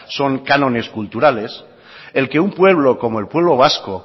son cánones culturales el que un pueblo como el pueblo vasco